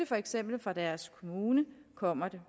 for eksempel deres kommune kommer det